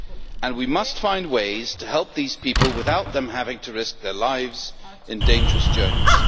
And we must find ways to help these people without them having to risk their lives on dangerous journeys.